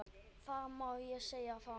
Það má segja það.